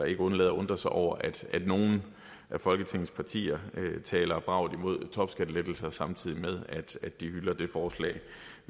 ikke undlade at undre sig over at nogle af folketingets partier taler bravt imod topskattelettelser samtidig med at de hylder det forslag